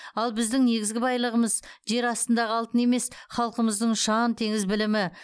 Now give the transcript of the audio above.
ал біздің негізгі байлығымыз жер астындағы алтын емес халқымыздың ұшан теңіз білімі